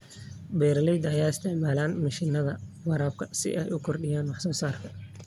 Beeralayda ayaa isticmaala mishiinada waraabka si ay u kordhiyaan wax soo saarka.